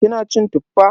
Kina cin Tuffa?